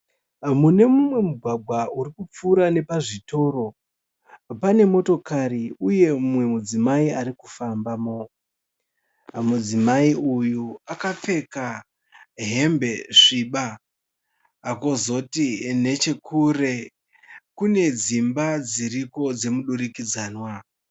Munemumwe mugwagwa uri kupfuura nepazvitoro mune umwe mudzimai arikufambamo. Mudzimai uyu akapfeka hembe sviba, kozoti nechekure kune dzimba dziriko dzemudurikidzamwa.